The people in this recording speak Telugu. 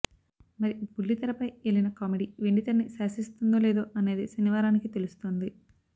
మరి బుల్లితెరపై ఏలిన కామెడీ వెండితెరని శాసిస్తుందో లేదో అనేదే శనివారానికి తెలుస్తుంది